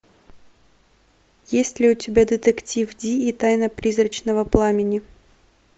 есть ли у тебя детектив ди и тайна призрачного пламени